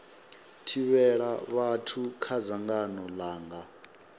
thivhela vhathu kha dzangano langa